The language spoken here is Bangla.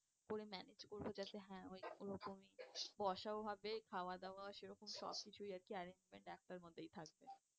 বলে manage করবো যাতে হ্যাঁ ওই ওরকম বসাও হবে খাওয়া দাওয়া সেরকম সব কিছুই আর কি management একটার মধ্যে থাকবে।